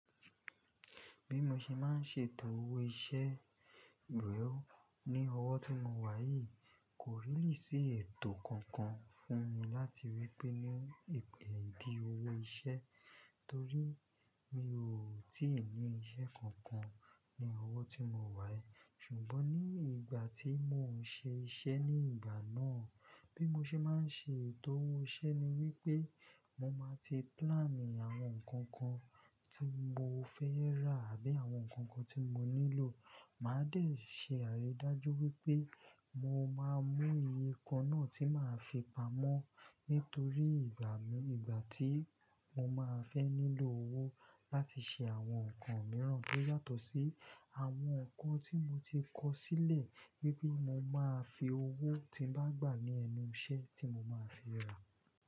Bí mo ṣe máa ń ṣètò owó iṣẹ́ rẹ ò ní ọwọ́ tí mo wà yìí kò really sí ètò kankan fún mi láti wí pé ní ipa dí owó iṣẹ́ torí mi ò tí ì ní iṣẹ́ kankan ní ọwọ́ tí mo wà yii. Ṣùgbọ́n ní ìgbà tí mò ń ṣe iṣẹ́ ní ìgbà náà, bí mo ṣe máa ń ṣe ètò owó iṣẹ́ ni wípé mo máa ti plàǹì àwọn nǹkan kan tí mo fẹ́ rà àbí àwọn nǹkan kan tí mo nílò. Màá dẹ̀ ṣe àrídájú wípé mo máa mú nkan náà tí màá fi pamọ́ nítorí ìgbà mi ìgbà tí mo máa fẹ́ nílò owó láti ṣe àwọn nǹkan mìíràn tó yàtọ̀ sí àwọn nǹkan tí mo ti kọ̀ sílẹ̀ wípé mo máa fi owó tí bá gbà ní ẹnu iṣẹ́ tí mo máa fi rà.